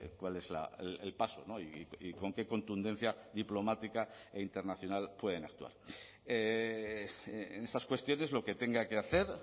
cuál es el paso y con qué contundencia diplomática e internacional pueden actuar en esas cuestiones lo que tenga que hacer